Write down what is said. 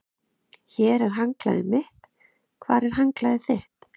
Hér er handklæðið mitt. Hvar er handklæðið þitt?